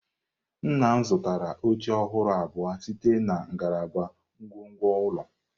Nna m zụtara oche ọhụrụ abụọ site na ngalaba ngwongwo ụlọ.